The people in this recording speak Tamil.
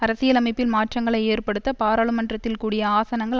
அரசியலமைப்பில் மாற்றங்களை ஏற்படுத்த பாராளுமன்றத்தில் கூடிய ஆசனங்கள்